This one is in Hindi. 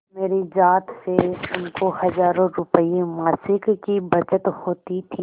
मेरी जात से उनको हजारों रुपयेमासिक की बचत होती थी